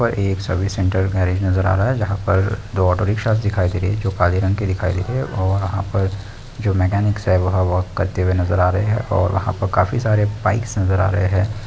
यहाँ पर एक सर्विस सेंटर गैरेज नजर आ रही है जहाँ पर दो ऑटो रिक्शास दिखाई दे रहे हैं जो काले रंग के दिखाई दे रहे हैं और वहाँ पर जो मैकेनिक्स है वहाँ वॉक करते हुए नजर आ रहे है और वहाँ पर काफी सारे बाइक्स नजर आ रहे है।